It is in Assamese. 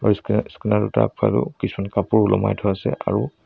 কিছুমান কাপোৰ ওলোমাই থোৱা আছে আৰু--